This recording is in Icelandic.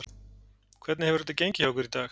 Hvernig hefur þetta gengið hjá ykkur í dag?